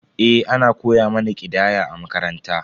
Eh, ana koya mana ƙidaya a makaranta.